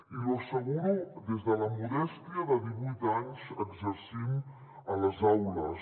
i l’hi asseguro des de la modèstia de divuit anys exercint a les aules